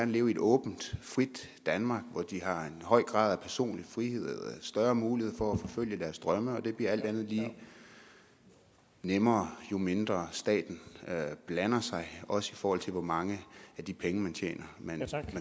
leve i et åbent frit danmark hvor de har en høj grad af personlig frihed og større mulighed for at forfølge deres drømme og det bliver alt andet lige nemmere jo mindre staten blander sig også i forhold til hvor mange af de penge man tjener man